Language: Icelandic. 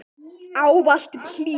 Ávallt hlý.